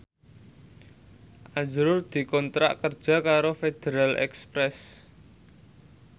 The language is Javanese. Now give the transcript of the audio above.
azrul dikontrak kerja karo Federal Express